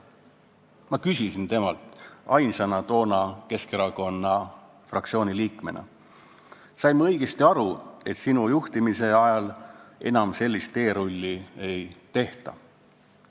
Ma küsisin temalt toona ainsana Keskerakonna fraktsiooni liikmetest, kas ma sain õigesti aru, et tema juhtimise ajal enam sellist teerulli ei tehta.